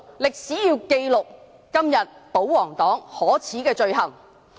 歷史要記錄今天保皇黨可耻的罪行。